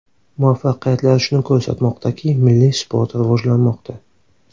Muvaffaqiyatlar shuni ko‘rsatmoqdaki, milliy sport rivojlanmoqda.